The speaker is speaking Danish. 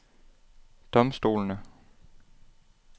domstolene